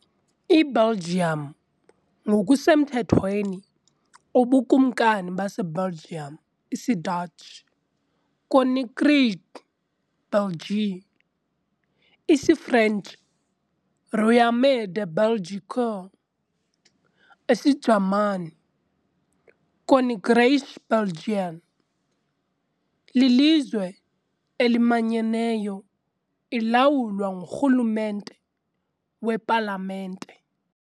IBelgium ngokusemthethweni uBukumkani baseBelgium, isiDatshi, "Koninkrijk België", isiFrentshi, "Royaume de Belgique", isiJamani, "Königreich Belgien", lilizwe elimanyeneyo ilawulwa ngurhulumente wepalamente.